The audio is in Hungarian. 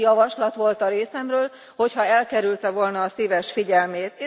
Ez egy javaslat volt a részemről, hogyha elkerülte volna a szíves figyelmét.